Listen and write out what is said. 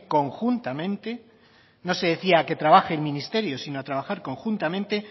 conjuntamente no se decía que trabaje el ministerio sino a trabajar conjuntamente